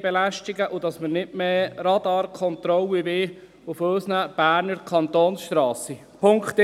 belästigen wollen und warum wir nicht mehr Radarkontrollen auf unseren Berner Kantonsstrassen wollen.